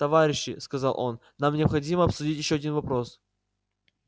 товарищи сказал он нам необходимо обсудить ещё один вопрос